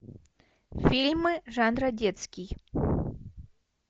фильмы жанра детский